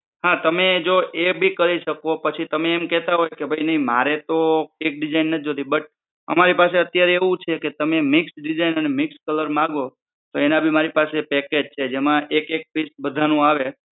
હા તમે જો એ ભી કરી શકો પછી તમે એમ કેહતા હોય નઇ મારે તો એક design મારે નથી જોઈતી but અમારી પાસે અત્યારે એવું છે કે તમે mixed design અને mixed colour માંગો તો એના ભી મારી પાસે package છે જેમાં એક એક piece બધાનું આવે.